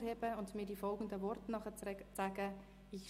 Herr Christoph Grupp leistet den Eid.